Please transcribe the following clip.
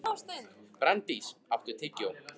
Branddís, áttu tyggjó?